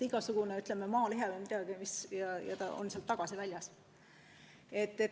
Igasugune maalihe või midagi sellist, ja ta on sealt tagasi väljas.